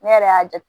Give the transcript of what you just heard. Ne yɛrɛ y'a ja